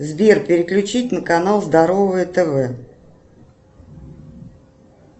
сбер переключить на канал здоровое тв